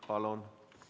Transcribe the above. Palun!